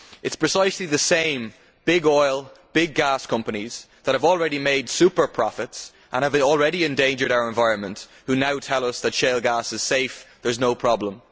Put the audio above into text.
It is precisely the same big oil and big gas companies that have already made super profits, and that have already endangered our environment, who now tell us that shale gas is safe and that there is no problem.